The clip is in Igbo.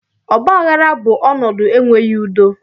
Ọgbaghara bụ ọnọdụ enweghị udo